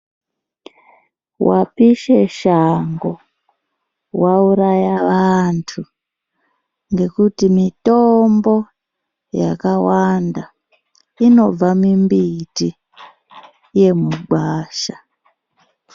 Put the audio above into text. Vapishe shango vauraya vantu. Ngekuti mitombo yakawanda inobva mimbiti yemugwasha.